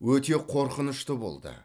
өте қорқынышты болды